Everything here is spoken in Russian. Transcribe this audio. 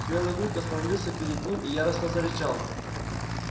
белый клык остановился перед ним и яростно зарычал